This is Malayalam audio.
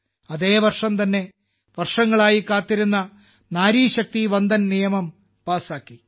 അതേ വർഷം തന്നെ വർഷങ്ങളായി കാത്തിരുന്ന നാരി ശക്തി വന്ദൻ നിയമം പാസാക്കി